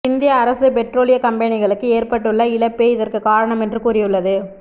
இந்திய அரசு பெட்ரோலிய கம்பெனிகளுக்கு ஏற்பட்டுள்ள இழப்பே இதற்கு காரணம் என்று கூறியுள்ளது